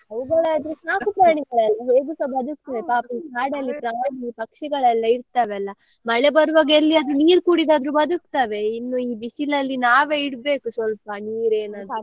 ಅವುಗಳಾದ್ರೆ ಸಾಕು ಪ್ರಾಣಿಗಳಲ್ಲ ಹೇಗುಸ ಬದುಕ್ತದೆ ಪಾಪ ಈ ಕಾಡಲ್ಲಿ ಪ್ರಾಣಿ ಪಕ್ಷಿಗಳೆಲ್ಲ ಇರ್ತಾವಲ್ಲ ಮಳೆ ಬರುವಾಗ ಎಲ್ಲಿಯಾದ್ರೂ ನೀರು ಕುಡಿದಾದ್ರು ಬದುಕ್ತಾವೆ ಇನ್ನು ಈ ಬಿಸಿಲಲ್ಲಿ ನಾವೇ ಇಡ್ಬೇಕು ಸ್ವಲ್ಪ ನೀರು ಏನಾದ್ರೂ .